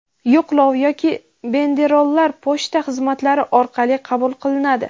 yo‘qlov yoki banderollar pochta xizmatlari orqali qabul qilinadi.